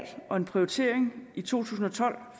og en prioritering i tusind og tolv at